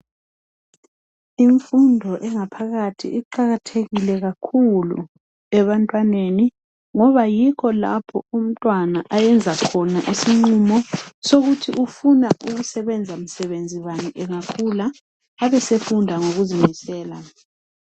Imfundo engaphakathi iqakathekile kakhulu ebantwaneni ngoba yikho lapho umtwana ayenza khona isigqumo sokuthi ufuna ukusebenzamsebenzi bani engakhula abesefunda ngokuzimisela